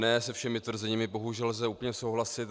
Ne se všemi tvrzeními bohužel lze úplně souhlasit.